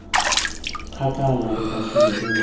kgakala re batlile re nna